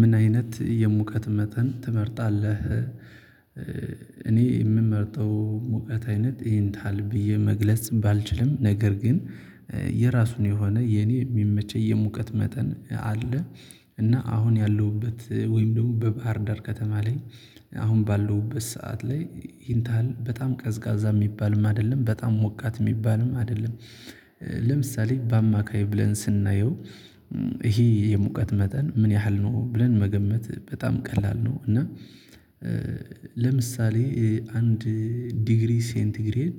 ምን አይነት የሙቀት መጠን ትመርጣለህ? እኔ የምመርጠው ሙቀት አይነት ይሄንታል ብዬ መግለጽ ባልችልም ነገር ግን የራሱን የሆነ የኔ የሚመቸኝ የሙቀት መጠን አለ። እና አሁን ያለሁበት ወይም ደግሞ በባህርዳር ከተማ ላይ አሁን ባለውበት ሰዓት ላይ ይህንታህል በጣም ቀዝቃዛ የሚባልም አይደለም በጣም ሞቃት የሚባልም አይደለም። ለምሳሌ በአማካይ ብለን ስናየው ይሄ የሙቀት መጠን ምን ያህል ነው ብለን መገመት በጣም ቀላል ነው። እና ለምሳሌ አንድ ዲግሪ ሴንቲግሬድ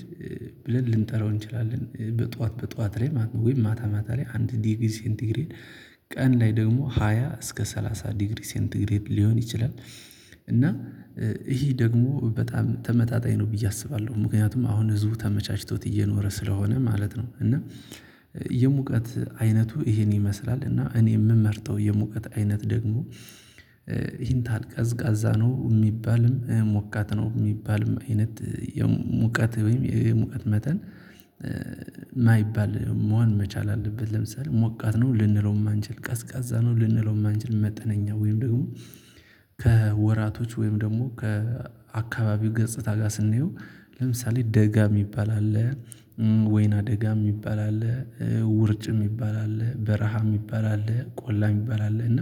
ብለን ልንጠራው እንችላለን በጧት በጧት ላይ ማታ ማታ ላይ አንድ ዲግሪ ሴንቲግሬድ ቀን ላይ ደግሞ ሃያ እስከ ሰላሳ ዲግሪ ሴንቲግሬድ ሊሆን ይችላል። እና ይሄ ደግሞ በጣም ተመጣጣኝ ነው ብዬ አስባለሁ ምክንያቱም አሁን ህዝቡ ተመቻችቶት እየኖረ ስለሆነ ማለት ነው። እና የሙቀት አይነቱ ይሄን ይመስላል እና እኔ የምመርጠው የሙቀት አይነት ደግሞ። ይሄን ታልቀዝቃዛ ነው የሚባልም ሞቃት ነው የሚባልም አይነት የሞቃት ወይም የሙቀት መጠን የማይባል መሆን መቻል አለበት። ለምሳሌ ሞቃት ነው ልንለው አንችል ቀዝቃዛ ነው ልንለውም አንችል መጠነኛ ወይም ደግሞ። ከወራቶች ወይም ደግሞ ከአካባቢው ገጽታ ጋር ስንየው ለምሳሌ ደጋ የሚባል አለ ወይና ደጋ የሚባል ይባላል። ውርጭም ይባላል በረሃም ይባላል ቆላም ይባላል እና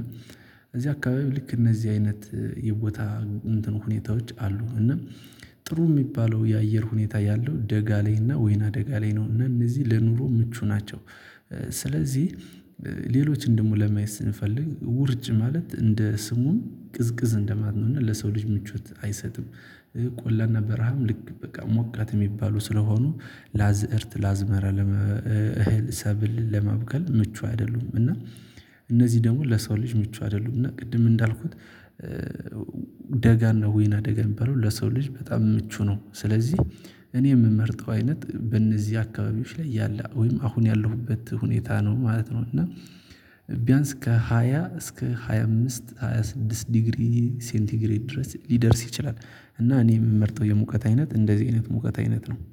እዚህ አካባቢ ልክ እነዚህ አይነት የቦታ ሁኔታዎች አሉ። እና ጥሩ የሚባለው የአየር ሁኔታ ያለው ደጋ ላይ እና ወይና ደጋ ላይ ነው እነዚህ ለኑሮ ምቹ ናቸው። ስለዚህ ሌሎች ደግሞ ለማየት ስንፈልግ ውርጭ ማለት እንደ ስሙም ቅዝቅዝ እንደማለት ነው እና ለሰው ልጅ ምቾት አይሰጥም። ቆላና በረሃም ልክ በቃ ሞቃት የሚባሉ ስለሆኑ ላዝእርት ላዝመራ እህል ሰብል ለመብቀል ምቹ አይደሉም። እና እነዚህ ደግሞ ለሰው ልጅ ምቹ አይደሉም እና ቅድም እንዳልኩት። ከወራቶች ወይም ደግሞ ከአካባቢው ገጽታ ጋር ስናየው ለምሳሌ ደጋ የሚባል አለ ወይና ደጋ የሚባል ይባላል ውርጭም ይባላል በረሃም ይባላል ቆላም ይባላል። እና እኔ የመርጠው የሙቀት አይነት እንደዚህ